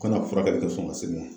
Ka na furakɛli kɛ sɔn ka se